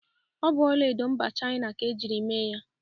Ọ bụ ọlaedo mba Chịana ka ejiri mee ya.